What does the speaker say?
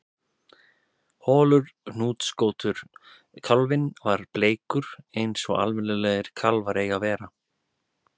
Holur hnúskóttur kálfinn var bleikur eins og almennilegir kálfar eiga að vera